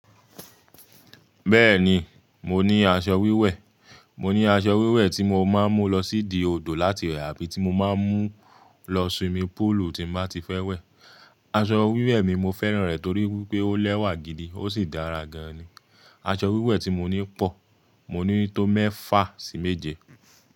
Bẹ́ẹ̀ni, mo ní aṣọ wíwẹ̀. Mo ní aṣọ wíwẹ̀ tí mo máa ń mú lọ sí ìdi odò láti wẹ̀ àbí tí mo máa ń mú lọ swimming pool tí mo bá ti fẹ́ wẹ̀. Aṣọ wíwẹ̀ mi, mo fẹ́ràn rẹ̀ torí pé ó lẹ́wà gidi ó sì dára gan ni. Aṣọ wíwẹ̀ tí mo ní pọ̀. Mo ní tó mẹ́fà sí méje.